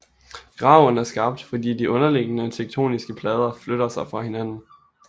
Graven er skabt fordi de underliggende tektoniske plader flytter sig fra hinanden